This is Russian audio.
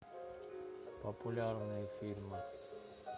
популярные фильмы